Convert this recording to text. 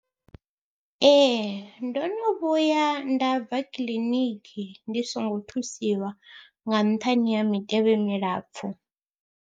Ee ndo no vhuya nda bva kiḽiniki ndi songo thusiwa nga nṱhani ha mitevhe milapfhu.